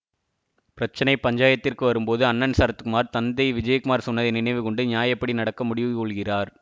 பிரச்சனை பஞ்சாயத்திற்கு வரும் போது அண்ணன் சரத்குமார் தந்தை விஜயகுமார் சொன்னதை நினைவு கொண்டு நியாயப்படி நடக்க முடிவு கொள்கிறார்